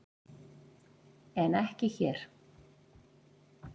En ekki hér!